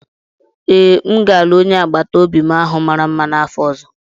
Ee, m ga-alụ onye agbata obi m ahụ mara mma n'afọ ọzọ.